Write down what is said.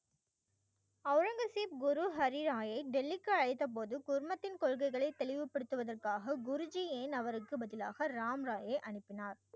அவுரங்கசீப் குரு ஹரிராயை டெல்லிக்கு அழைத்தபோது குடும்பத்தின் கொள்கைகளை தெளிவுபடுத்துவதற்காக குருஜி ஏன் அவருக்கு பதிலாக ராம் ராயை அனுப்பினார்